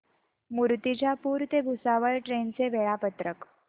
मूर्तिजापूर ते भुसावळ ट्रेन चे वेळापत्रक